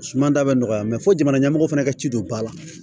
Suma da bɛ nɔgɔya fo jamana ɲɛmɔgɔ fana ka ci don ba la